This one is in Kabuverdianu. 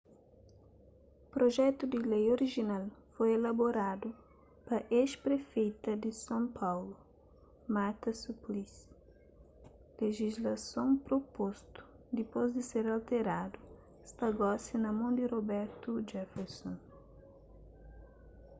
projetu di lei orijinal foi elaboradu pa ex-prefeita di son paulu marta suplicy lejislason propostu dipôs di ser alteradu sta gosi na mon di roberto jefferson